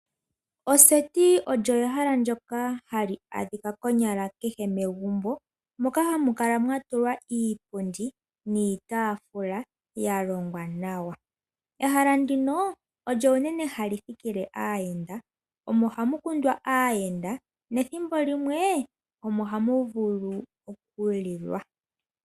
Oseti olyo ehala ndyoka hali adhika konyala kehe megumbo moka hamu kala mwatulwa iipundi niitaafula yalongwa nawa. Ehala ndino olyo unene hali thikile aayenda. Omo hamu kundwa aayenda nethimbo limwe omo hamuvulu olulilwa.